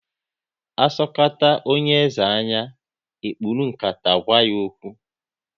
Asokata onye eze anya, e kpuru nkata gwa ya okwu